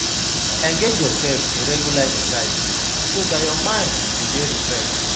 Engage yourself in regular exercise so dat your mind go dey refreshed